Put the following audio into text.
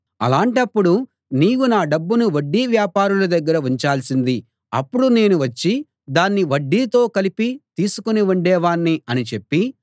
అలాంటప్పుడు నీవు నా డబ్బును వడ్డీ వ్యాపారుల దగ్గర ఉంచాల్సింది అప్పుడు నేను వచ్చి దాన్ని వడ్డీతో కలిపి తీసుకుని ఉండేవాణ్ణి అని చెప్పి